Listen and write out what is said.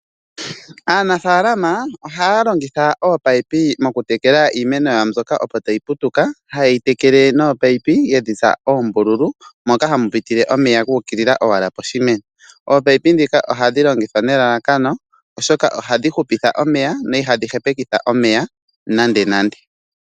Aanafaalama oha ya longitha ominino moku tekela iimeno yawo mbyoka opo ta yi putuka, ha ye yi tekele nominino yedhitsa oombululu, moka ha mu pitile omeya guukilila owala poshimeno. Ominino ndhika oha dhi longithwa nelalakano oshoka oha dhi hupitha omeya, dho iha dhi hepeke omeya nande nande.